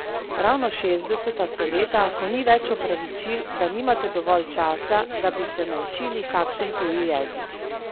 Ravno šestdeseta so leta, ko ni več opravičil, da nimate dovolj časa, da bi se naučili kakšen tuji jezik.